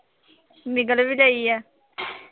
ਨਿਗਲ ਵੀ ਗਈ ਹੈ